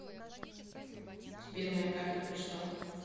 сбер моя карта пришла